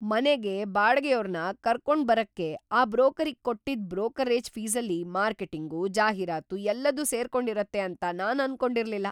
ಮನೆಗೆ ಬಾಡ್ಗೆಯೋರ್ನ ಕರ್ಕೊಂಡ್ಬರಕ್ಕೆ ಆ ಬ್ರೋಕರಿಗ್ ಕೊಟ್ಟಿದ್ದ್ ಬ್ರೋಕರೇಜ್‌ ಫೀಸಲ್ಲಿ ಮಾರ್ಕೆಟಿಂಗು, ಜಾಹೀರಾತು ಎಲ್ಲದೂ ಸೇರ್ಕೊಂಡಿರುತ್ತೆ ಅಂತ ನಾನ್‌ ಅನ್ಕೊಂಡಿರ್ಲಿಲ್ಲ.